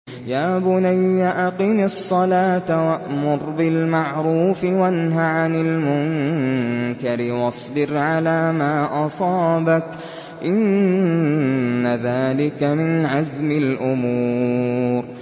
يَا بُنَيَّ أَقِمِ الصَّلَاةَ وَأْمُرْ بِالْمَعْرُوفِ وَانْهَ عَنِ الْمُنكَرِ وَاصْبِرْ عَلَىٰ مَا أَصَابَكَ ۖ إِنَّ ذَٰلِكَ مِنْ عَزْمِ الْأُمُورِ